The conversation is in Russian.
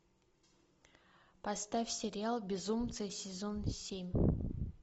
поставь сериал безумцы сезон семь